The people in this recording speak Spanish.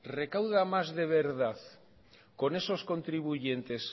recauda más de verdad con esos contribuyentes